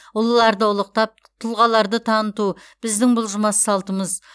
ұлыларды ұлықтап тұлғаларды таныту біздің бұлжымас салтымыз